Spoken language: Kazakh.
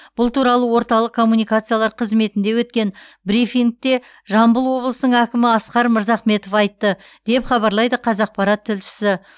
бұл туралы орталық коммуникациялар қызметінде өткен брифингте жамбыл облысының әкімі асқар мырзахметов айтты деп хабарлайды қазақпарат тілшісі